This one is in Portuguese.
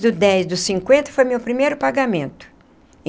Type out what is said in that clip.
Do dez do cinquenta foi meu primeiro pagamento.